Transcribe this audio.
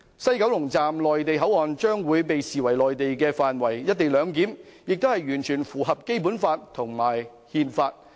西九龍總站的內地口岸區將會被視為內地範圍，而"一地兩檢"也完全符合《基本法》和《憲法》。